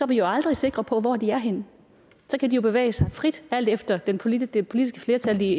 vi jo aldrig sikre på hvor de er henne så kan de jo bevæge sig frit alt efter det politiske politiske flertal i